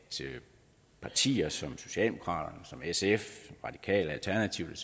partier som socialdemokratiet sf radikale alternativet